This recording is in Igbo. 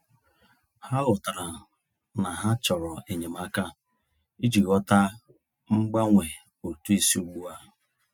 Ha ghọtara na ha chọrọ enyemaka iji ghọta mgbanwe ụtụ isi ugbu a.